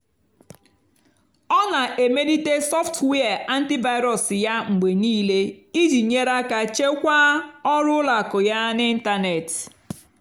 ọ́ nà-èmélìté sọ́ftụ́wíà ántị́vírú́s yá mgbe níìlé ìjì nyèrè àká chèkwáà ọ́rụ́ ùlọ àkụ́ yá n'ị́ntánètị́.